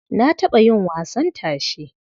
Na taɓa yin wasan tashe.